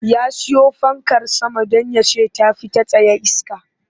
Ya siyo fankar sama don ya ce ta fi ta tsaye iske